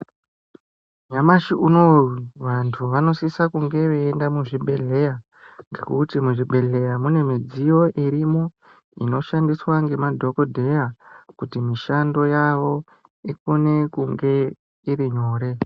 Nyamashi unowo vantu vanosisa kunge veienda muzvibhehlera ngekuti muzvibhehlera mune mudziyo irimo inoshandiswa ngemadhokodheya kuti mishando yavo ikone kunge iri nyore .